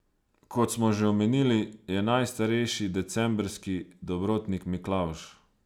Kot smo že omenili, je najstarejši decembrski dobrotnik Miklavž.